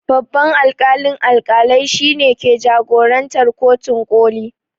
Babban alƙalin alƙalai shine ke jagorantar kotun ƙoli